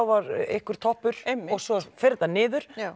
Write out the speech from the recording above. var einhver toppur svo fer þetta niður